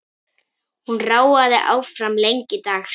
Hún ráfaði áfram lengi dags.